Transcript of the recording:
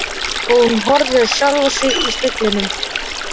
Og hún horfir á sjálfa sig í speglinum.